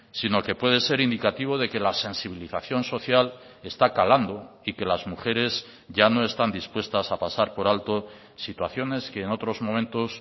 sino que puede ser indicativo de que las sensibilización social está calando y que las mujeres ya no están dispuestas a pasar por alto situaciones que en otros momentos